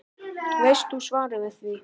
Veist þú svarið við því?